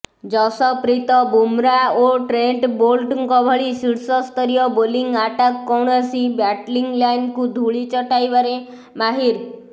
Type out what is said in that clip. ଯଶପ୍ରୀତ ବୁମ୍ରା ଓ ଟ୍ରେଣ୍ଟ ବୋଲ୍ଟଙ୍କ ଭଳି ଶୀର୍ଷସ୍ତରୀୟ ବୋଲିଂ ଆଟାକ୍ କୌଣସି ବ୍ୟାଟିଂଲାଇନକୁ ଧୂଳି ଚଟାଇବାରେ ମାହିର୍